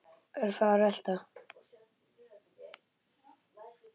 Örfáar velta.